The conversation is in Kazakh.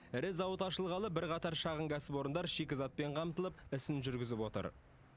ірі зауыт ашылғалы бірқатар шағын кәсіпорындар шикізатпен қамтылып ісін жүргізіп отыр